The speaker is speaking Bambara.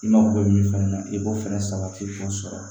I mako bɛ min fana na i b'o fɛnɛ sabati k'o sɔrɔ